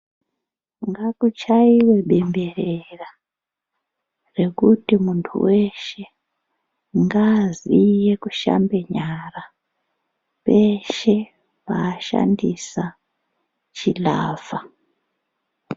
Ngakuchaiwe bemberwra rekuti muntu weshe ngaaziye kushambe nyara peshe paashandisa chilavha.